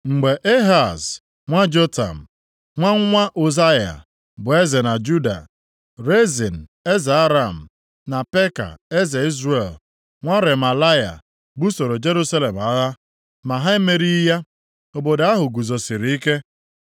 Mgbe Ehaz, + 7:1 Nʼime senchuri nke asaa, tupu a mụọ Kraịst, ndị Izrel na Siria jikọrọ aka buso ndị Asịrịa agha. Nʼoge ahụ ha gbalịrị ịkwagide Ehaz, eze Juda, ka o soro ha ga buo agha ahụ. nwa Jotam, nwa nwa Ụzaya bụ eze na Juda, Rezin eze Aram, na Peka eze Izrel, nwa Remalaya, busoro Jerusalem agha. Ma ha emerighị ya; obodo ahụ guzosiri ike.